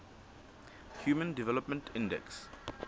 human development index